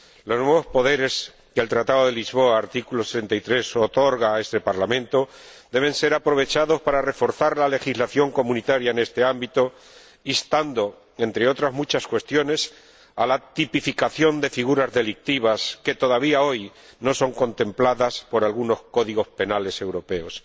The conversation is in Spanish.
Los nuevos poderes que el Tratado de Lisboa otorga en su artículo 63 a este Parlamento deben ser aprovechados para reforzar la legislación comunitaria en este ámbito, instando, entre otras muchas cuestiones, a la tipificación de figuras delictivas que todavía hoy no son contempladas por algunos códigos penales europeos.